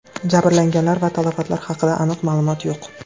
Jabrlanganlar va talafotlar haqida aniq ma’lumot yo‘q.